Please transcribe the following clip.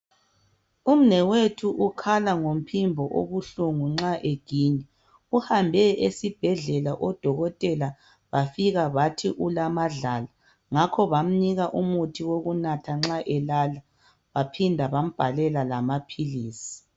Umnewethu ukhala ngomphimbo obuhlungu nxa eginya uhambe esibhedlela odokotela bafika bathi ulamadlala ngakho bamnika umuthi wokunatha nxa elala baphinda bambhalela lamaphilisi.